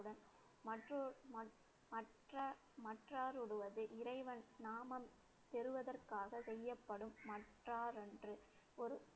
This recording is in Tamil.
இறைவன் நாமம் பெறுவதற்காக செய்யப்படும் ஒரு